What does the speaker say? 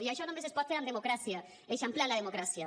i això només es pot fer amb democràcia eixamplant la democràcia